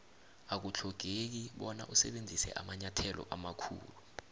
akuthlogeki bona usebenzise amanyathelo amakhulu